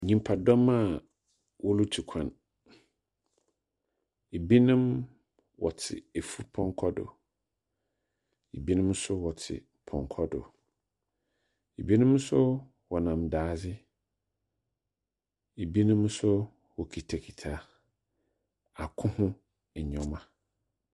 Nyimpadɔm a worutu kwan, binom wɔtse efupɔnkɔ do, binom so wɔtse pɔnkɔ do, binom so wɔnam daadze, binom so wokitsakitsa ako ho ndzɛmba.